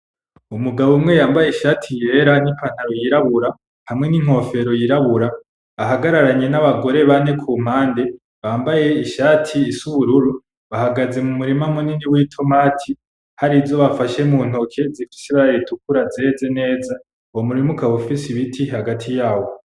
Umugabo umwe yambaye ishati yera n'ipantaro yirabura hamwe n'inkofero yirabura ahagararanye n'abagore bane kumpande bambaye ishati isa ubururu, bahagaze mu murima munini w'itomati hari izo bafashe mu ntoke zifise ibara ritukura zeze neza, uwo murima ukaba ufise ibiti hagati yawo.